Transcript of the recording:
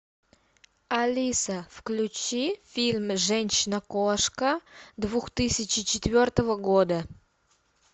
алиса включи фильм женщина кошка две тысячи четвертого года